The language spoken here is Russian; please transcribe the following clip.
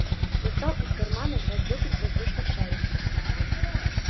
достал из кармана два сдутых воздушных шарика